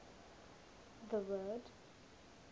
the word